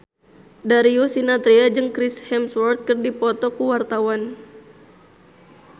Darius Sinathrya jeung Chris Hemsworth keur dipoto ku wartawan